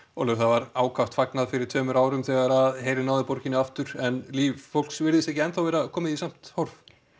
Ólöf það var ákaft fagnað fyrir tveimur árum þegar herinn náði borginni aftur en líf fólks virðist ekki enn vera komið í samt horf